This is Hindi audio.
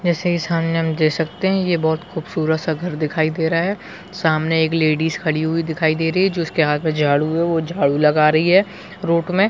जैसे ये सामने हम देख सकते है ये बहुत खूबसूरत -सा घर दिखाई दे रहा है सामने एक लेडीज खड़ी वो दिखाई दे रही है जो उसके हाँथ में झाड़ू हो वो झाड़ू लगा रही है रोड में --